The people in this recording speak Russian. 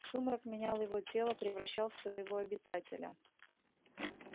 сумрак менял его тело превращал в своего обитателя